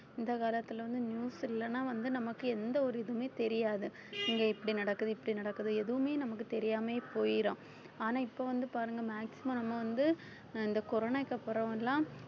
இந்த காலத்துல வந்து news இல்லைன்னா வந்து நமக்கு எந்த ஒரு இதுவுமே தெரியாது இங்க இப்படி நடக்குது இப்படி நடக்குது எதுவுமே நமக்கு தெரியாமயே போயிரும் ஆனா இப்ப வந்து பாருங்க maximum நம்ம வந்து இந்த corona க்கு அப்புறம் எல்லாம்